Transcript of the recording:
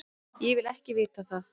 Ég vil ekki vita það.